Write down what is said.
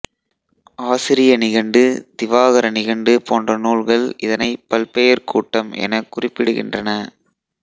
ஆசிரிய நிகண்டு திவாகர நிகண்டு போன்ற நூல்கள் இதனைப் பல்பெயர்க் கூட்டம் எனக் குறிப்பிடுகின்றன